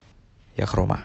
яхрома